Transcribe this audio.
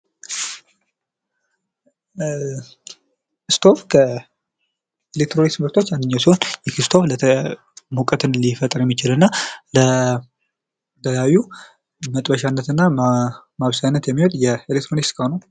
ስቶቭ ከኤሌክትሮኒክስ ምርቶች አንዱ ሲሆን ይህ ስቶቭ ሙቀት ሊፈጥር የሚችልና ለተለያዩ መጥበሻነትና ማብሰያነት የሚውል የኤሌክትሮኒክስ እቃ ነው።